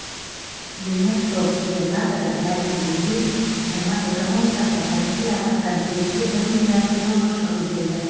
венетто губернаторы мәлімдегендей аймақ экономикасына табиғи апаттан кемінде бір миллиард еуро шығын келді